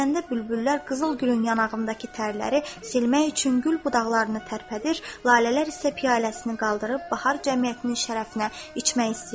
Xanəndə bülbüllər qızıl gülün yanağındakı tərləri silmək üçün gül budaqlarını tərpədir, lalələr isə piyaləsini qaldırıb bahar cəmiyyətinin şərəfinə içmək istəyirdi.